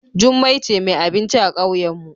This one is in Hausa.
Jummai ce mai abinci a kauyenmu.